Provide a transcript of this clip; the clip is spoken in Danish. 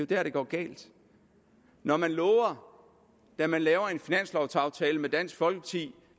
der det går galt når man lover da man laver en finanslovaftale med dansk folkeparti